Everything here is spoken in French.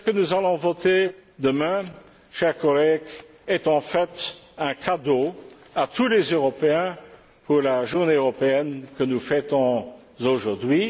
Ce que nous allons voter demain, chers collègues, est en fait un cadeau à tous les Européens pour la Journée européenne que nous fêtons aujourd'hui.